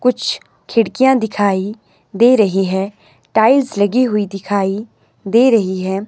कुछ खिड़कीयां दिखाई दे रही है टाइल्स लगी हुई दिखाई दे रही है।